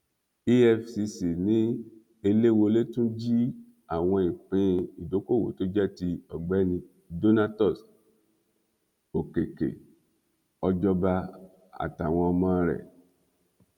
efcc ni eléwolé tún jí àwọn ìpín ìdókoòwò tó jẹ ti ọgbẹni donatus òkèkè ọjọba àtàwọn ọmọ rẹ